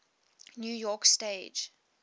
new york stage